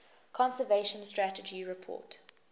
conservation strategy report